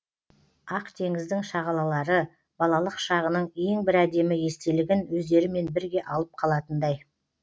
ақтеңіздің шағалалары балалық шағының ең бір әдемі естелігін өздерімен бірге алып қалатындай